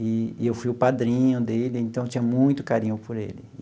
E e eu fui o padrinho dele, então eu tinha muito carinho por ele.